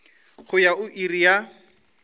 go ya go iri ya